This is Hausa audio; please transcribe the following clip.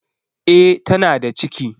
E, tana da ciki.